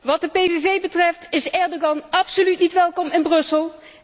Wat de PVV betreft is Erdogan absoluut niet welkom in Brussel!